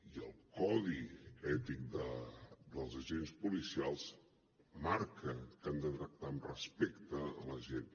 i el codi ètic dels agents policials marca que han de tractar amb respecte la gent